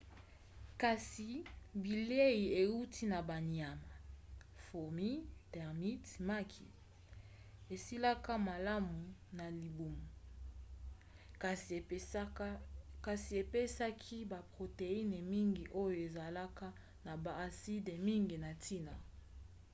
kasi bilei euti na banyama fourmis termites maki esilaka malamu na libumu kasi epesaki baproteine mingi oyo ezalaka na baaside mingi ya ntina